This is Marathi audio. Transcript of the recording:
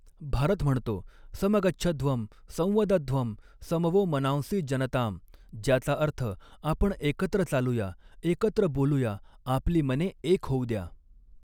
भारत म्हणतो, समगच्छध्वम् संवदध्वम् सम वो मनांसि जनताम्, ज्याचा अर्थ आपण एकत्र चालूया, एकत्र बोलूया, आपली मने एक होऊ द्या.